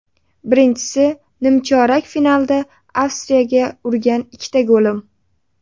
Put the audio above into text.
Birinchisi, nimchorak finalda Avstriyaga urgan ikkita golim.